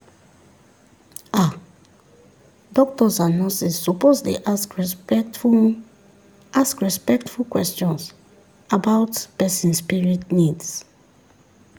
ah doctors and nurses suppose dey ask respectful ask respectful questions about person spirit needs.